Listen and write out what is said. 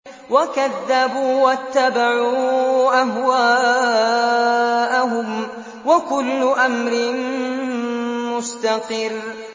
وَكَذَّبُوا وَاتَّبَعُوا أَهْوَاءَهُمْ ۚ وَكُلُّ أَمْرٍ مُّسْتَقِرٌّ